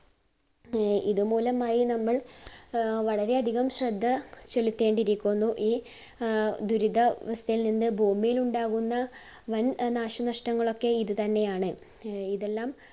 ആഹ് ഇത് മൂലമായി നമ്മൾ ആഹ് വളരെ അധികം ശ്രദ്ധ ചിലത്തേണ്ടിയിരിക്കുന്നു. ഈ ആഹ് ദുരിതാവസ്ഥയിൽ നിന്ന് ഭൂമിയിലുണ്ടാകുന്ന വൻ നാശനഷ്ടങ്ങളൊക്കെ ഇതുതന്നെയാണ്. ഇതെല്ലാം